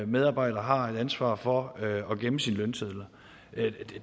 medarbejder har et ansvar for at gemme sine lønsedler